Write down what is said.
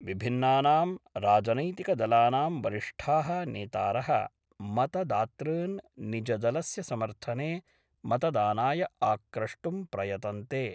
विभिन्नानां राजनैतिकदलानां वरिष्ठाः नेतार: मतदातॄन् निजदलस्य समर्थने मतदानाय आक्रष्टुं प्रयतन्ते।